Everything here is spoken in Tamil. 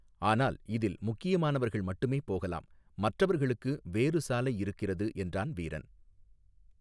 ஆனால் இதில் முக்கியமானவர்கள் மட்டுமே போகலாம் மற்றவர்களுக்கு வேறு சாலை இருக்கிறது என்றான் வீரன்.